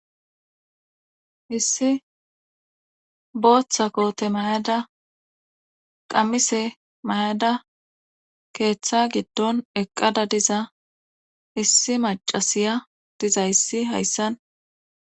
Issi booththa koote mayada qammise mayada keeththa giddon eqqada diza issi macasiya diza issi hayssan